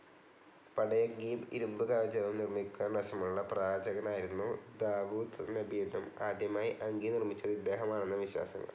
പടയങ്കിയും, ഇരുമ്പ് കവചവും നിർമ്മിക്കുവാൻ വശമുള്ള പ്രവാചകനായിരുന്നു ദാവൂദ് നബിയെന്നും ആദ്യമായി അങ്കി നിർമിച്ചത് ഇദ്ദേഹമാണെന്നുമാണ് വിശ്വാസങ്ങൾ.